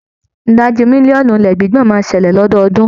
Ìdajì mílíọ̀nù ilẹ̀ gbígbọ̀n máa ń ṣẹlẹ̀ lọ́dọọ́dún.